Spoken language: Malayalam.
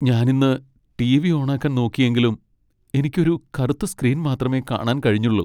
ഞാൻ ഇന്ന് ടി.വി. ഓണാക്കാൻ നോക്കിയെങ്കിലും എനിക്ക് ഒരു കറുത്ത സ്ക്രീൻ മാത്രമേ കാണാൻ കഴിഞ്ഞുള്ളൂ .